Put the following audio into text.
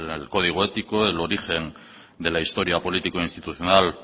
el código ético el origen de la historia político institucional